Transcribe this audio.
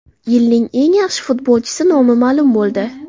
Yilning eng yaxshi futbolchisi nomi ma’lum bo‘ldi.